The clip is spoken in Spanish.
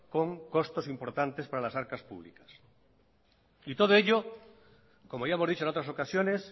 con costes importantes para las arcas públicas y todo ello como ya hemos dicho en otras ocasiones